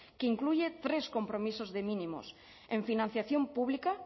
que incluye tres compromisos de mínimos en financiación pública